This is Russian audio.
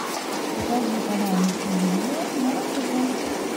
покажи канал иллюзион на тв